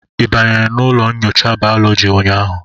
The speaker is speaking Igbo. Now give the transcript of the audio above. ị banyere n'ụlọ nyocha bayọlọji ụnyahụ?